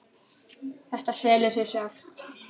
Þetta selur sig sjálft.